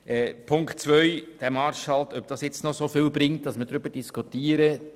Zu Ziffer 2 und ob es noch viel bringt, über den Marschhalt zu diskutieren: